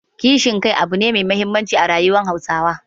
Kishin kai abu ne muhimmi a rayuwar Hausawa.